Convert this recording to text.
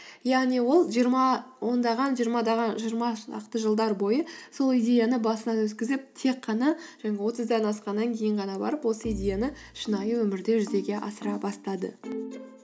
яғни ол ондаған жиырма шақты жылдар бойы сол идеяны басынан өткізіп тек қана жаңағы отыздан асқаннан кейін ғана барып осы идеяны шынайы өмірде жүзеге асыра бастады